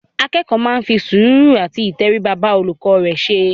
Akẹ́kọ̀ọ́ máa ń fi sùúrù àti ìtẹríba bá olùkọ́ rẹ ṣe.